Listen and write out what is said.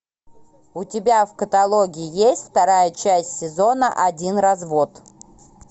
у тебя в каталоге есть вторая часть сезона один развод